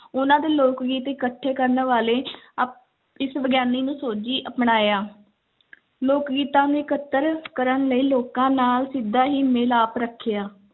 ਉਹਨਾਂ ਦੇ ਲੋਕ-ਗੀਤ ਇਕੱਠੇ ਕਰਨ ਵਾਲੇ ਆਹ ਇਸ ਵਿਗਿਆਨੀ ਨੂੰ ਸੋਝੀ ਅਪਣਾਇਆ ਲੋਕ-ਗੀਤਾਂ ਨੂੰ ਇਕੱਤਰ ਕਰਨ ਲਈ ਲੋਕਾਂ ਨਾਲ ਸਿੱਧਾ ਹੀ ਮਿਲਾਪ ਰੱਖਿਆ।